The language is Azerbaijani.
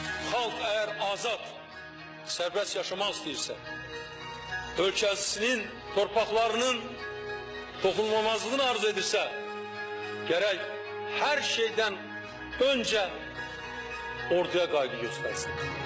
Xalq əgər azad, sərbəst yaşamaq istəyirsə, ölkəsinin, torpaqlarının toxunulmazlığını arzu edirsə, gərək hər şeydən öncə orduya qayğı göstərsin.